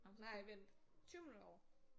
Nej vent 20 minutter over